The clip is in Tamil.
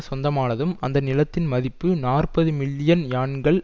சொந்தமானதும் அந்த நிலத்தின் மதிப்பு நாற்பது மில்லியன் யான்கள்